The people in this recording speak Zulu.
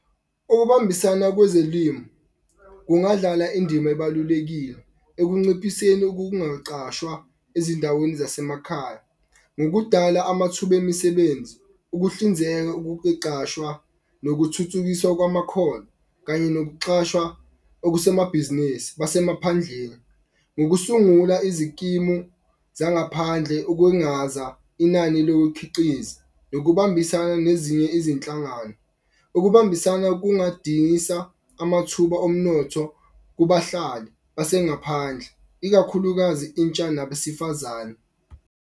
Okubambisana kwezolimu kungadlala indima ebalulekile ekunciphiseni ukungaqashwa ezindaweni zasemakhaya. Ngokudala amathuba emisebenzi, ukuhlinzeka nokuthuthukiswa kwamakhono kanye nokuchashwa okusemabhizinisi basemaphandleni. Ngokusungula izikimu zangaphandle ukwengaza inani lokukhiqiza nokubambisana nezinye izinhlangano. Ukubambisana amathuba omnotho kubahlali base ngaphandle ikakhulukazi intsha nabesifazane.